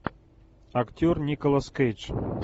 актер николас кейдж